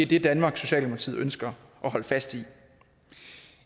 det danmark socialdemokratiet ønsker at holde fast i